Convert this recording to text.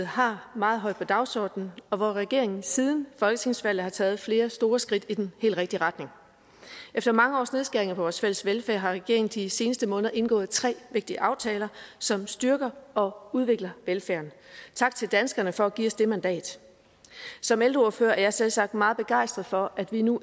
har meget højt på dagsordenen og hvor regeringen siden folketingsvalget har taget flere store skridt i den helt rigtige retning efter mange års nedskæringer på vores fælles velfærd har regeringen de seneste måneder indgået tre vigtige aftaler som styrker og udviklet velfærden tak til danskerne for at give os det mandat som ældreordfører er jeg selvsagt meget begejstret for at vi nu